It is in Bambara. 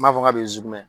N b'a fɔ ka bɛ zonzɛn